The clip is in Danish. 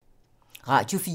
Radio 4